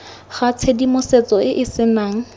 ga tshedimosetso e e senang